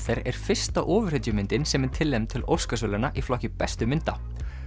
er fyrsta ofurhetjumyndin sem er tilnefnd til Óskarsverðlauna í flokki bestu mynda